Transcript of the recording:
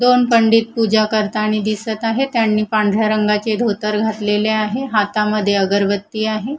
दोन पंडित पूजा करतानी दिसत आहे त्यांनी पांढऱ्या रंगाचे धोतर घातलेले आहे हातामध्ये अगरबत्ती आहे.